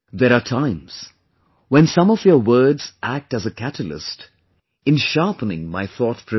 There are times when some of your words act as a catalyst in sharpening my thought process